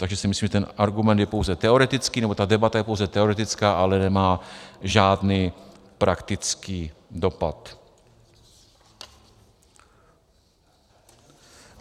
Takže si myslím, že ten argument je pouze teoretický, nebo ta debata je pouze teoretická, ale nemá žádný praktický dopad.